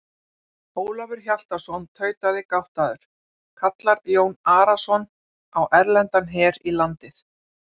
Ólafur Hjaltason tautaði gáttaður:-Kallar Jón Arason á erlendan her í landið?